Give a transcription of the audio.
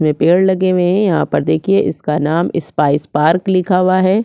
ये पेड़ लगे हुये है यहाँ पर देखिये इसका नाम इस्पाइस पार्क लिखा हुआ है।